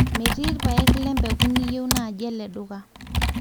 metii ilpaek le mbeku niyieu naaji ele duka